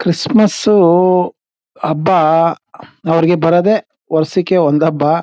Christmas ಉ ಹಬ್ಬ ಹಂ ಅವರಿಗೆ ಬರೋದೇ ವರ್ಷಕ್ಕೆ ಒಂದು ಹಬ್ಬ.